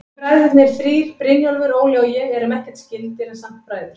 Við bræðurnir þrír, Brynjólfur, Óli og ég, erum ekkert skyldir, en samt bræður.